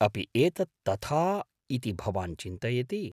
अपि एतत् तथा इति भवान् चिन्तयति ?